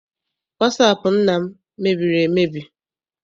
Wasaapụ nna m mebiri emebi.